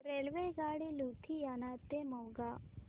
रेल्वेगाडी लुधियाना ते मोगा